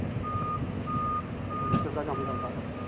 furniture ਦਾ ਕੰਮ ਕਰਦਾ ਨਾ।